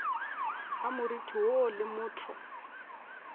ga moriti woo le motho